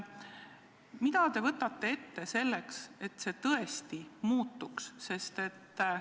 Mida te võtate ette selleks, et see retoorika tõesti muutuks?